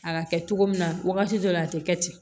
A ka kɛ cogo min na wagati dɔ la a te kɛ ten